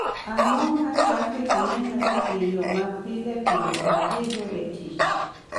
Ang�o ma trafik nenore e yo ma pile pile adhigo e tich?